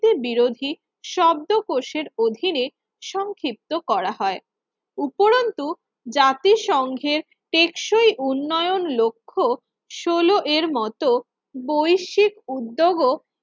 বিরোধী শব্দকোষের অধীনে সংক্ষিপ্ত করা হয় উপরত্ন জাতিসংঘের টেকসই উন্নয়ন লক্ষ্য সলো এর মত বৈশ্বিক উদ্যোগ ও